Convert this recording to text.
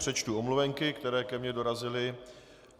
Přečtu omluvenky, které ke mně dorazily.